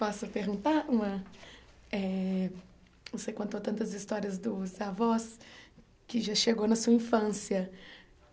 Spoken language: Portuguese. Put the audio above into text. Posso perguntar uma... eh Você contou tantas histórias dos avós, que já chegou na sua infância.